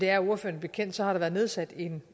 er ordføreren bekendt har været nedsat en